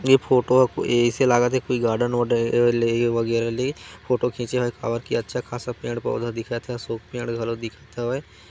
ये फोटो ह ऐसे लागत हे कोई गार्डन वार्डन लेइ वगैरह लेइ फोटो खींचे हे और अच्छा खासा पेड़ पौधा दिखत हे अशोक पेड़ घलो दिखत हे।